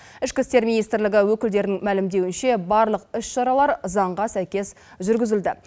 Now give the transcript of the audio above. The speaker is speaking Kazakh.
ішкі істер министрлігі өкілдерінің мәлімдеуінше барлық іс шаралар заңға сәйкес жүргізілді